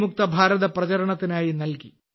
മുക്ത ഭാരത പ്രചാരണത്തിനായി നൽകി